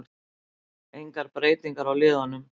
Engar breytingar á liðunum